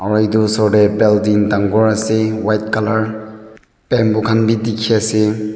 aro edu osor tae balding dangor ase white colour bamboo khan bi dikhiase.